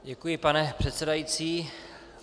Děkuji, pane předsedající.